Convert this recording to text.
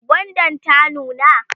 gwandan ta nuna?